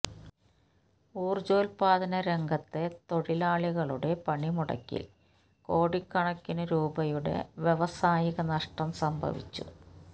ഊര്ജോത്പാദന രംഗത്തെ തൊഴിലാളികളുടെ പണിമുടക്കില് കോടിക്കണക്കിനു രൂപയുടെ വ്യവസായിക നഷ്ടം സംഭവിച്ചു